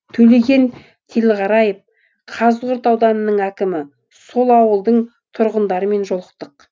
төлеген телғараев қазығұрт ауданының әкімі сол ауылдың тұрғындарымен жолықтық